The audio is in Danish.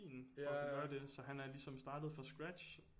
For at kunne gøre det så han er ligesom startet fra scratch